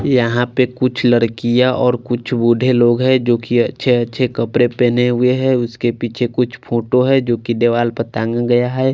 यहाँ पे कुछ लड़कियाँ और कुछ बूढ़े लोग हैं जोकि अच्छे अच्छे कपड़े पहने हुए हैं उसके पीछे कुछ फ़ोटो हैं जोकि दीवाल पर टांगा गया है।